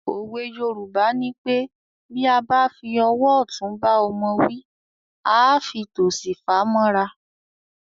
Òwe Yorùbá nipé “ Bí a bá fi ọwọ́ ọ̀tún bá ọmọ wí, à á fi tòsì fà mọ́ra ”.